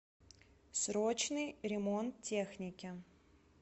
срочный ремонт техники